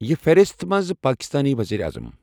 یہِ فِہرسَت مَنٛز پاکستانی ؤزیٖرِ اَعظَم.